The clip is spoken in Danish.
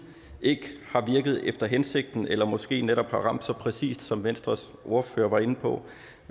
ikke har virket efter hensigten eller måske netop har ramt så præcist som venstres ordfører var inde på